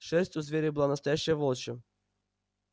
шерсть у зверя была настоящая волчья